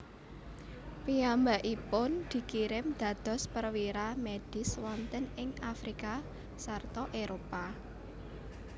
Piyambakipun dikirim dados perwira medis wonten ing Afrika sarta Éropah